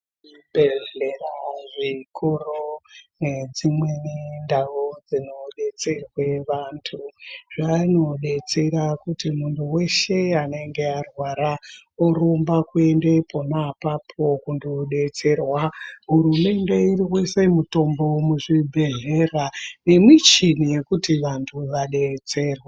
Zvibhedhlera zvikuru nedzimweni ndau dzinodetserwe vantu vanodetsera kuti munthu weshe anenge arwara orumba kuende pona apapo kundodetserwa. Hurumende iri kuise mutombo muzvibhedhlera nemichini yekuti vanthu vadetserwe.